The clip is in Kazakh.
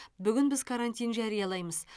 бүгін біз карантин жариялаймыз